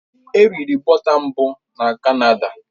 È riri bọta tat mbụ na Canada